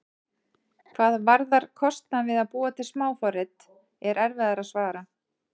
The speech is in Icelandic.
Hvað varðar kostnað við að búa til smáforrit er erfiðara að svara.